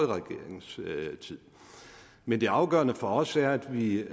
regerings tid men det afgørende for os er at vi